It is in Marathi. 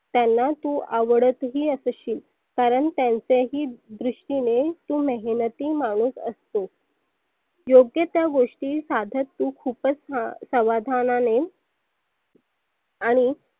त्यांना तु आवडतही असशील कारण त्यांचे ही दृष्टीने तु मेहनती माणूस आसतो. योग्यत्या गोष्टी तु साधत तु खुपच समाधानाने आणि